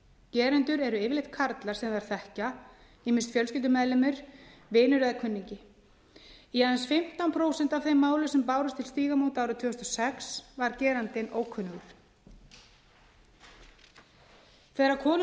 gerendur eru yfirleitt karlar sem þær þekkja ýmist fjölskyldumeðlimur vinur eða kunningi í aðeins fimmtán prósent af þeim málum sem bárust til stígamóta árið tvö þúsund og sex var gerandinn ókunnugur þegar konur